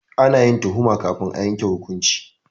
Ana yin tuhuma kafin a yanke hukunci.